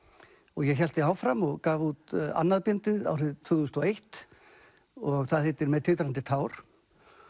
og ég hélt því áfram og gaf út annað bindið árið tvö þúsund og eins og það heitir með titrandi tár